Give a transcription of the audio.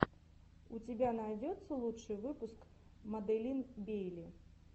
у тебя найдется лучший выпуск маделин бейли